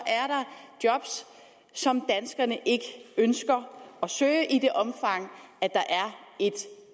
job som danskerne ikke ønsker at søge i det omfang der er et